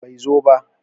Bai zo ba.